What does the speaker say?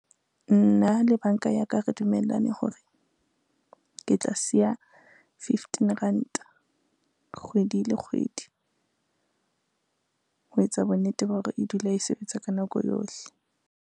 Nna le banka ya ka re dumellane hore, ke tla siya fifteen ranta kgwedi le kgwedi. Ho etsa bonnete ba hore e dule e sebetsa ka nako yohle.